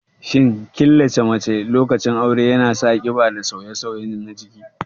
Shin killace mace lokacin aure yana sa ƙiba da sauye-sauye na jiki?